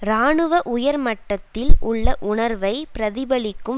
இராணுவ உயர் மட்டத்தில் உள்ள உணர்வை பிரதிபலிக்கும்